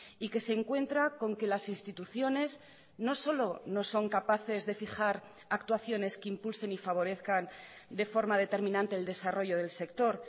y que se encuentra con que las instituciones no solo no son capaces de fijar actuaciones que impulsen y favorezcan de forma determinante el desarrollo del sector